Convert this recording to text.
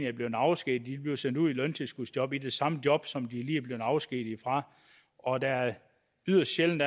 er blevet afskediget bliver sendt ud i løntilskudsjob i det samme job som de lige er blevet afskediget fra og der er yderst sjældent